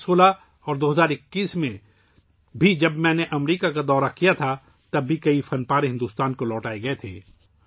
2016 ء اور 2021 ء میں بھی ، جب میں نے امریکہ کا دورہ کیا تھا، تب بھی بہت سے نوادرات بھارت کو واپس کی گئی تھیں